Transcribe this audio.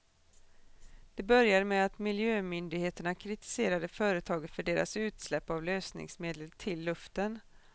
Det började med att miljömyndigheterna kritiserade företaget för deras utsläpp av lösningsmedel till luften.